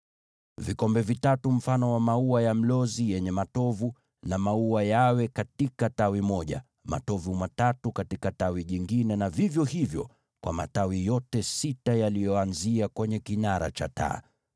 Vikombe vitatu vya mfano wa maua ya mlozi yenye matovu na maua vitakuwa katika tawi moja, vikombe vitatu katika tawi jingine, na vivyo hivyo kwa matawi yote sita yanayotokeza kwenye kile kinara cha taa.